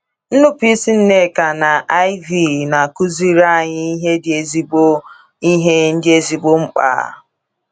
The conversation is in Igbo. Nnupụisi Nneka na Iv na - akụziri anyị ihe dị ezigbo ihe dị ezigbo mkpa